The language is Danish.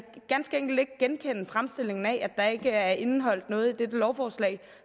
ganske enkelt ikke genkende fremstillingen af at der ikke er indeholdt noget i dette lovforslag